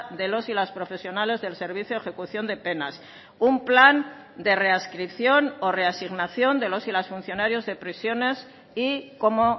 de los y las profesionales del servicio ejecución de penas un plan de readscripción o reasignación de los y las funcionarios de prisiones y cómo